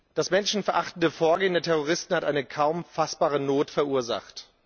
Das menschenverachtende Vorgehen der Terroristen hat eine kaum fassbare Not verursacht.